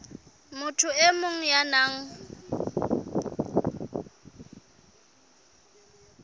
motho e mong ya nang